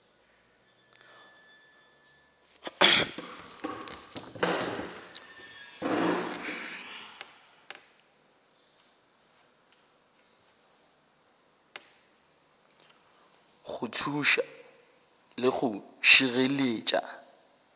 go thuša le go šireletša